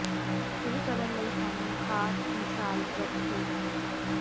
ਇਹ ਕਰਨ ਲਈ ਸਾਨੂੰ ਖਾਸ ਮਿਸਾਲ ਵਰਤ ਹੋ ਜਾਵੇਗਾ